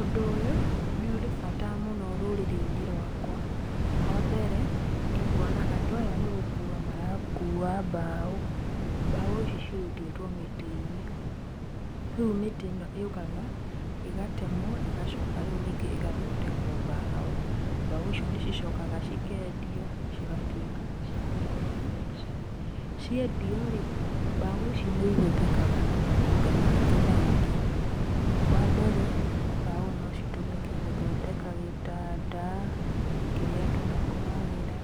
Ũndũ ũyũ, nĩũrĩ bata mũno rũrĩrĩ-inĩ rwakwa. Wambere, nĩnguona andũ aya nĩgũkua marakua mbaũ, mbaũ ici cirutĩtwo mĩtĩ-inĩ rĩu mĩtĩ ĩnoyũkaga ĩgatemwo ĩgacoka rĩu ningĩ ĩgathondekwo mbaũ , mbaũ icio nĩcicokaga cikendio cigatũĩka cia kũrehe mbeca ciendio-rĩ mbaũ ici nĩ ihũthĩkaga na maũndũ mangĩ maingĩ wambere mbaũ no citũmĩke gúũhondeka gĩtanda kĩrĩa andũ makomagĩra